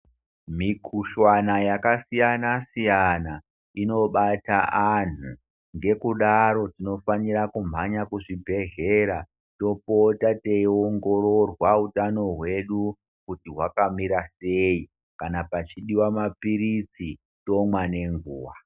Mikhuhlwana yakasiyanasiyana inobata anhu ngekudaro tinofanira kumhanya kuzvibhehlera topota teiongororwa utano hwedu kuti hwakamira sei kana pachidiwa mapilizi tomwa nenguwa.